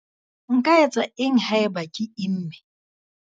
Nka etsa eng haeba ke imme?